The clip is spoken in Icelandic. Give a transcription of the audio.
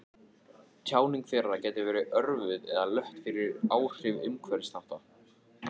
Tjáning þeirra gæti verið örvuð eða lött fyrir áhrif umhverfisþátta.